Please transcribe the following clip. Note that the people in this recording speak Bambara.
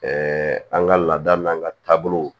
an ka laada n'an ka taabolow